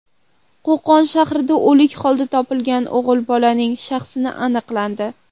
Qo‘qon shahrida o‘lik holda topilgan o‘g‘il bolaning shaxsi aniqlandi.